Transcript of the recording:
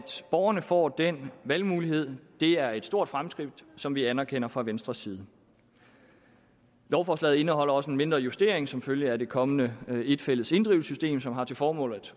borgerne får den valgmulighed er et stort fremskridt som vi anerkender fra venstres side lovforslaget indeholder også en mindre justering som følge af det kommende et fælles inddrivelsessystem som har til formål